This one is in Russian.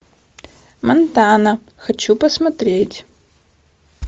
монтана хочу посмотреть